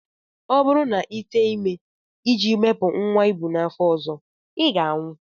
Ọ bụrụ na Ị tee ime iji wepụ nnwa ị bu n'afọ ọzọ, I ga-anwụ!